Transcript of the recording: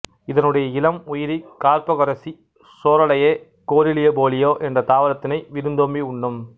இதனுடைய இளம் உயிரி கார்போகரிசி சோராலெயே கோரிலிபோலியா என்ற தாவரத்தினை விருந்தோம்பி உண்ணும்